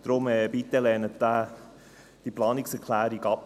Deshalb: Lehnen Sie diese Planungserklärung bitte ab.